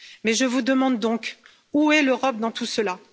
Je vous demande alors où est l'Europe dans tout cela?